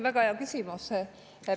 Väga hea küsimus.